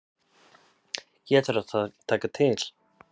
Hér þarf að taka til.